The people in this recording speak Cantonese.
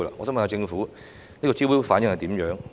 請問政府招標的反應如何呢？